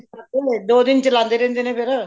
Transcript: ਪਟਾਕੇ ਫ਼ੇਰ ਦੋ ਦਿਨ ਚਲਾਦੇ ਰਹਿੰਦੇ ਨੇ ਫ਼ਿਰ